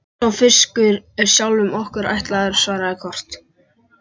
Sá fiskur er sjálfum okkur ætlaður, svaraði Kort.